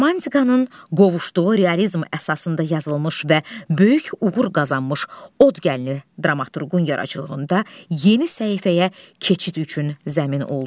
Romantikanın qovuşduğu realizm əsasında yazılmış və böyük uğur qazanmış Od gəlini dramaturqun yaradıcılığında yeni səhifəyə keçid üçün zəmin oldu.